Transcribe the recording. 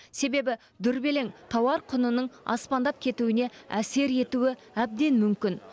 себебі дүрбелең тауар құнының аспандап кетуіне әсер етуі әбден мүмкін